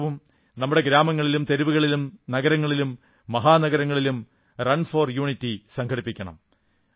ഈ വർഷവും നമ്മുടെ ഗ്രാമങ്ങളിലും തെരുവുകളിലും നഗരങ്ങളിലും മഹാനഗരങ്ങളിലും റൺഫോർ യൂണിറ്റി സംഘടിപ്പിക്കണം